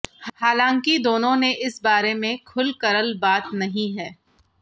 हालांकि दोनो ने इस बारे में खुलकरल बात नही है